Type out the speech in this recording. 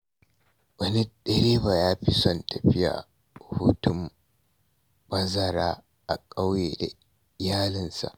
Wani direba ya fi son tafiya hutun bazara a ƙauye da iyalinsa.